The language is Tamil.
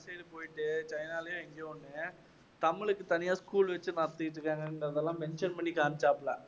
அந்த side போயிட்டு சைனாலேயோ எங்கேயோ ஒண்ணு தமிழுக்கு தனியா school வச்சு நடத்திட்டிருக்காங்கங்கிறதெல்லாம் mention பண்ணி காமிச்சாப்ல